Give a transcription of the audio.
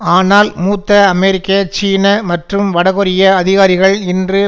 ஆனால் மூத்த அமெரிக்க சீன மற்றும் வடகொரிய அதிகாரிகள் இன்று